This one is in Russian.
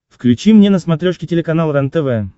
включи мне на смотрешке телеканал рентв